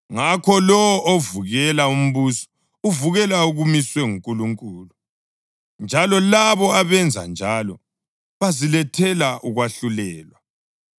Ngakho, lowo ovukela umbuso uvukela okumiswe nguNkulunkulu, njalo labo abenza njalo bazilethela ukwahlulelwa.